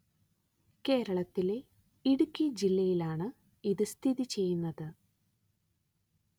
കേരളത്തിലെ ഇടുക്കി ജില്ലയിലാണ് ഇത് സ്ഥിതി ചെയ്യുന്നത്